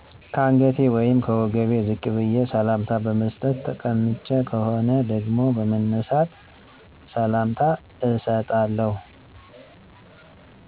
ከአንገቴ ወይም ከወገቤ ዝቅ በዬ ሰላምታ በመስጠት። ተቀምጬ ከሆነ ደግሞ በመነሳት ሰላምታ እሰጣለሁ